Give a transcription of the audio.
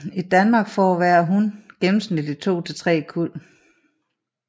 I Danmark får hver hun gennemsnitligt to til tre kuld